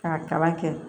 K'a kalan kɛ